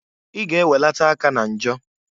I ga -eweleta aka na njọ!